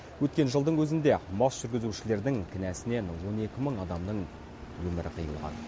өткен жылдың өзінде мас жүргізушілердің кінәсінен он екі мың адамның өмірі қиылған